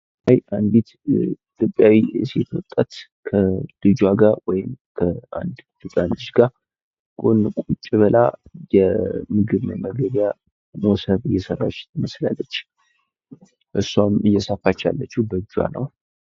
አንዲት ኢትዮጲያዊ ሴት ወጣት ከልጅዋ ጋ ወይም ከአንድ ህጻን ልጅ ጋ ቁጭ ብላ የምግብ መመገቢያ መሶብ እየሰራች ትመስላለጭ እስዋም እየሰፋች ያለችው በእጅዋ ነው።